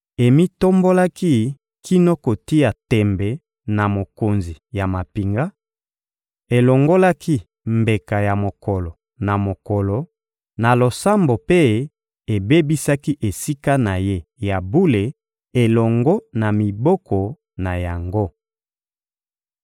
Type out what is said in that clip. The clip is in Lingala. Emitombolaki kino kotia tembe na Mokonzi ya mampinga, elongolaki mbeka ya mokolo na mokolo na losambo mpe ebebisaki Esika na Ye ya bule elongo na miboko na yango.